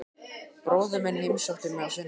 Bróðir minn heimsótti mig á sunnudaginn.